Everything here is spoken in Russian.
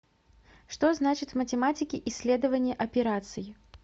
что значит в математике исследование операций